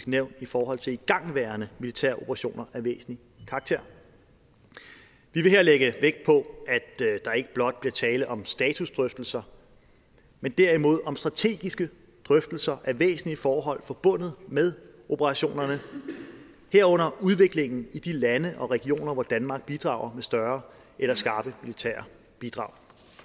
nævn i forhold til igangværende militære operationer af væsentlig karakter vi vil her lægge vægt på at der ikke blot bliver tale om statusdrøftelser men derimod om strategiske drøftelser af væsentlige forhold forbundet med operationerne herunder udviklingen i de lande og regioner hvor danmark bidrager med større eller skarpe militære bidrag